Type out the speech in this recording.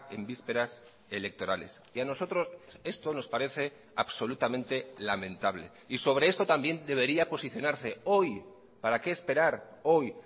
en vísperas electorales y a nosotros esto nos parece absolutamente lamentable y sobre esto también debería posicionarse hoy para qué esperar hoy